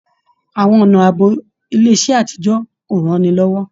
Àwọn ọnà ààbò ilé iṣẹ àtijọ o ránilọ́wọ́.